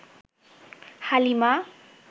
Halima